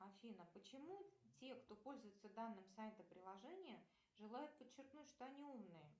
афина почему те кто пользуются данным сайтом приложения желают подчеркнуть что они умные